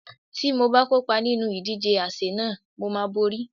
Tí mo bá kópa nínú ìdíje àsè náà, mo máa borí.